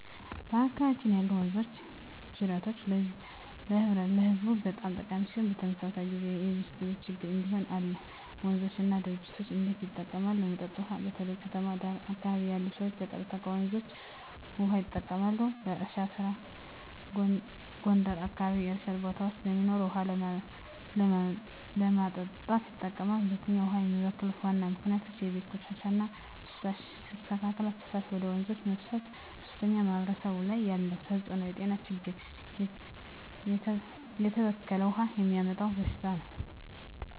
በአካባቢያችን ያሉ ወንዞችና ጅረቶች ለህዝቡ በጣም ጠቃሚ ሲሆኑ፣ በተመሳሳይ ጊዜ የብክለት ችግኝ እንዲሁም አለ። 1. ወንዞች እና ጅረቶች እንዴት ይጠቀማሉ? ለመጠጥ ውሃ: በተለይ በከተማ ዳር አካባቢ ያሉ ሰዎች ቀጥታ ከወንዞች ውሃ ይጠቀማሉ። ለእርሻ ስራ: ጎንደር አካባቢ የእርሻ ቦታዎች ስለሚኖሩ ውሃ ለማጠጣት ይጠቀማሉ። 2. ውሃን የሚበክሉ ዋና ምክንያቶች የቤት ቆሻሻ እና ፍሳሽ: ያልተስተካከለ ፍሳሽ ወደ ወንዞች መፍሰስ 3. በማህበረሰብ ላይ ያለው ተጽዕኖ የጤና ችግኝ: የተበከለ ውሃ የሚያመጣው በሽታዎች